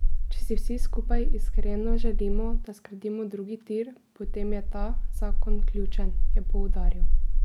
Če si vsi skupaj iskreno želimo, da zgradimo drugi tir, potem je ta zakon ključen, je poudaril.